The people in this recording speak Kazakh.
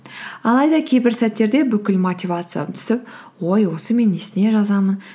алайда кейбір сәттерде бүкіл мотивациям түсіп ой осы мен несіне жазамын